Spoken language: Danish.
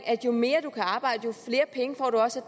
at jo mere du kan arbejde jo flere penge får du også